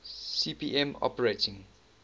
cp m operating